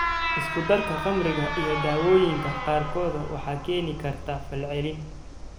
Isku darka khamriga iyo daawooyinka qaarkood waxay keeni kartaa falcelin.